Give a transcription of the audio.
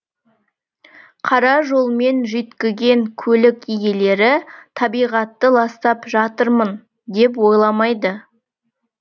қара жолмен жүйткіген көлік иелері табиғатты ластап жатырмын деп ойламайды